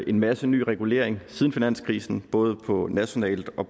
en masse nye regulering siden finanskrisen både på nationalt og